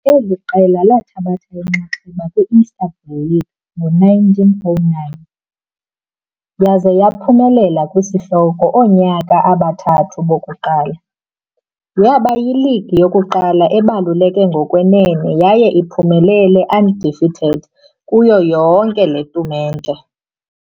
Eli qela bathatha inxaxheba Istanbul League ngo-1909, kodwa waphumelela yesihloko onyaka ezintathu zokuqala. Yaba league yokuqala ibaluleke ngokwenene yaye iphumelele undefeated kulo lonke le tumente.